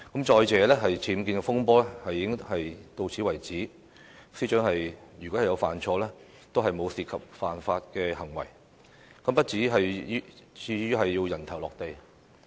再者，僭建風波到現時為止，司長如有犯錯，也沒有涉及犯法行為，不至於"人頭落地"。